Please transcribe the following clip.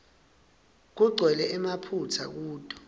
kugcwele emaphutsa kuto